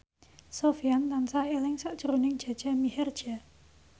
Sofyan tansah eling sakjroning Jaja Mihardja